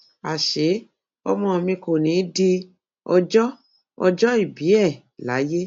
àṣé ọmọ mi kò ní í di ọjọ ọjọòbí ẹ láyé